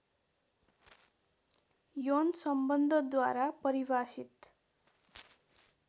यौन सम्बन्धद्वारा परिभाषित